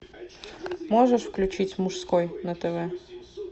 можешь включить мужской на тв